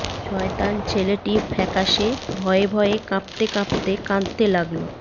শয়তান ছেলেটি ফ্যাকাশে ভয়ে ভয়ে কাঁপতে কাঁপতে কাঁদতে লাগল